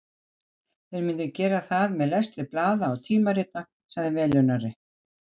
Þeir myndu gera það með lestri blaða og tímarita, sagði velunnari